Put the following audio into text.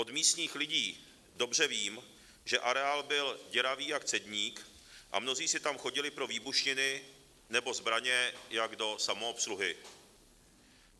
Od místních lidí dobře vím, že areál byl děravý jak cedník a mnozí si tam chodili pro výbušniny nebo zbraně jako do samoobsluhy.